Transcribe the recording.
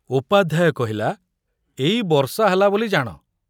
ଉପାଧ୍ୟାୟ କହିଲା, ଏଇ ବର୍ଷା ହେଲା ବୋଲି ଜାଣ